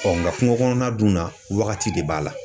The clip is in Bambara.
nga kungo kɔnɔna dun na wagati de b'a la.